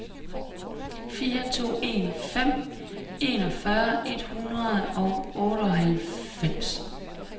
fire to en fem enogfyrre et hundrede og otteoghalvfems